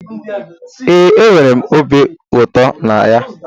Ee, enwere m obi ụtọ na ya